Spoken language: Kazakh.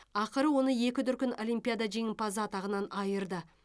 ақыры оны екі дүркін олимпиада жеңімпазы атағынан айырды